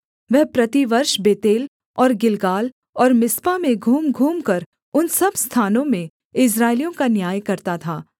वह प्रतिवर्ष बेतेल और गिलगाल और मिस्पा में घूमघूमकर उन सब स्थानों में इस्राएलियों का न्याय करता था